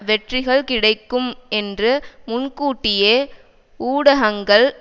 வெற்றிகள் கிடைக்கும் என்று முன்கூட்டியே ஊடகங்கள்